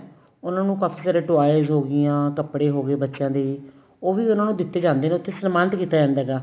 ਉਹਨਾ ਨੂੰ ਕਾਫੀ ਸਾਰੇ toys ਹੋਗੀਆਂ ਕਪੜੇ ਹੋ ਗਏ ਬੱਚਿਆਂ ਦੇ ਉਹ ਵੀ ਉਹਨਾ ਨੂੰ ਦਿੱਤੇ ਜਾਂਦੇ ਸਮਾਨਤ ਕੀਤਾ ਜਾਂਦਾ ਹੈਗਾ